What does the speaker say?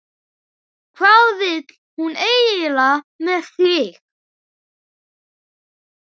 Hvað vill hún eiginlega með þig?